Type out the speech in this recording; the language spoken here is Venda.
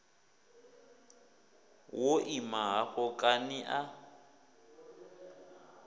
wo ima hafho kani a